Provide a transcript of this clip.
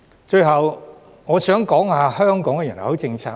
最後，我想談談香港的人口政策。